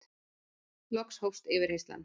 Loks hófst yfirheyrslan.